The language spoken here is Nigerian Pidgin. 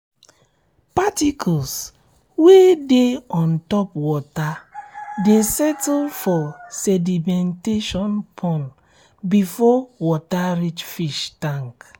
particles wey dey ontop water dey settle for sedimentation pond before water reach fish tank